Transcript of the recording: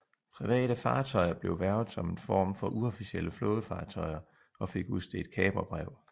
Private fartøjer blev hvervet som en form for uofficielle flådefartøjer og fik udstedt kaperbrev